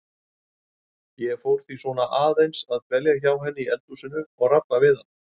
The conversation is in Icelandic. Ég fór því svona aðeins að dvelja hjá henni í eldhúsinu og rabba við hana.